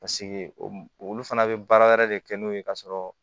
Paseke olu fana bɛ baara wɛrɛ de kɛ n'o ye ka sɔrɔ